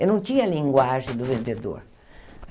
Eu não tinha a linguagem do vendedor.